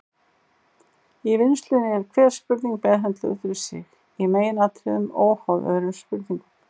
Í vinnslunni er hver spurning meðhöndluð fyrir sig, í meginatriðum óháð öðrum spurningum.